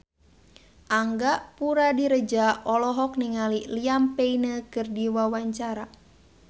Angga Puradiredja olohok ningali Liam Payne keur diwawancara